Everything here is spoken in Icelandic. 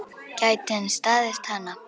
Gæti hann staðist hana?